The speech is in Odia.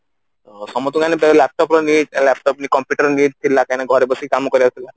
ସମସ୍ତେ ଜାଣିପାରିଲେ laptop ର need ଏ laptop ନାଇଁ computer ର need ଥିଲା କାହିଁକି ନା ଘରେ ବସି କାମ କରିବାକୁ ପଡିବ